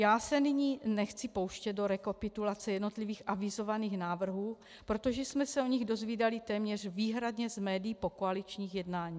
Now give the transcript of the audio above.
Já se nyní nechci pouštět do rekapitulace jednotlivých avizovaných návrhů, protože jsme se o nich dozvídali téměř výhradně z médií po koaličních jednání.